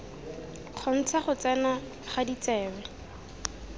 kgontsha go tsena ga ditsebe